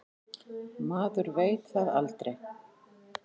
Maður veit það aldrei.